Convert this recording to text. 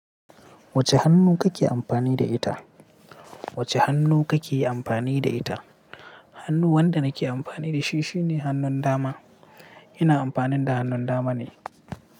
Wacce hannu kake amfani da ita? Wacce hannu kake amfani da ita? Hannu wanda nake amfani da shi shine hannun dama. Ina amfani da hannun dama ne.